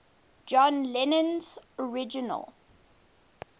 john lennon's original